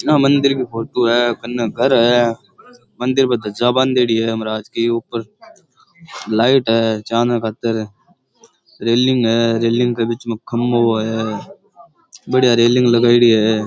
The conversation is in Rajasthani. या मंदिर की फोटू है कन्ने घर है मंदिर पे ध्वजा बांधेड़ी है महाराज की ऊपर लाइट है चानने खातर रेलिंग है रेलिंग के बिच मै खंबो है बढ़िया रेलिंग लगाएड़ी है।